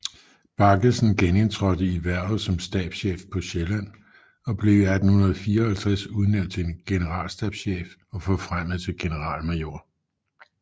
Baggesen genindtrådte i hvervet som stabschef på Sjælland og blev i 1854 udnævnt til generalstabschef og forfremmet til generalmajor